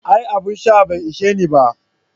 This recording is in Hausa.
Aa, abun sha bai isheni ba.